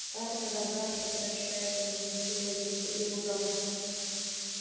как она добра что прощает ему все эти его промахи